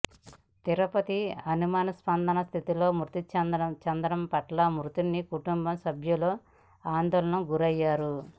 తిరుపతి అనుమానాస్పద స్థితిలో మృతి చెందడం పట్ల మృతుని కుటుంబ సభ్యులు ఆందోళనకు గురయ్యారు